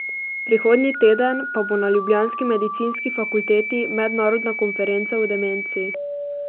Prihodnji teden pa bo na ljubljanski medicinski fakulteti mednarodna konferenca o demenci.